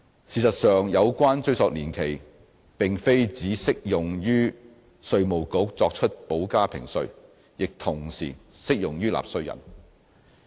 事實上，有關追溯年期並非只適用於稅務局作出補加評稅，亦同時適用於納稅人。